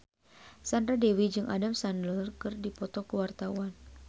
Sandra Dewi jeung Adam Sandler keur dipoto ku wartawan